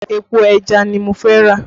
Epo ẹja ni mo fẹ́ rà